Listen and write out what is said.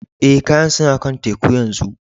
Eh, kayan suna kan teku yanzu.